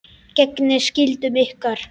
Gegnið skyldum ykkar!